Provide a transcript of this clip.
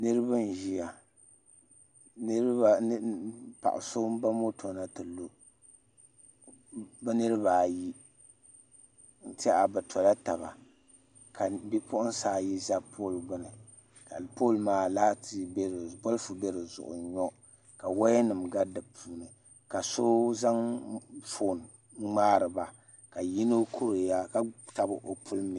Niraba n ʒiya paɣa so n ba moto na ti lu bi niraba ayi n tiɛha bi tola taba ka bipuɣunsi ayi ʒɛ pool gbuni ka pool maa bolfu bɛ dizuɣu n nyo ka woya nim gari di puuni ka so zaŋ foon n ŋmaariba ka yino kuriya ka tabi o puli mini